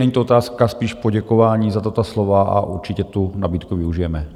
Není to otázka, spíš poděkování za tato slova, a určitě tu nabídku využijeme.